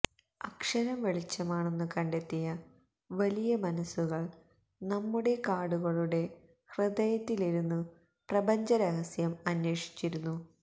അക്ഷരം വെളിച്ചമാണെന്നു കണ്ടെത്തിയ വലിയമനസ്സുകള് നമ്മുടെ കാടുകളുടെ ഹൃദയത്തിലിരുന്നു പ്രപഞ്ച രഹസ്യം അന്വേഷിച്ചിരുന്നു